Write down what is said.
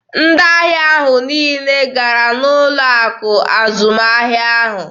Ndị ahịa ahụ niile gara n'ụlọ akụ azụmahịa ahụ.